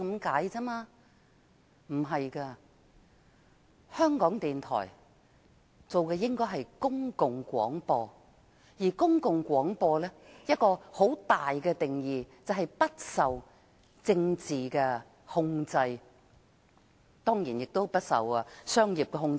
港台的工作應是公共廣播，而公共廣播其中一項重要的定義，就是不受政治控制，亦不受商業控制。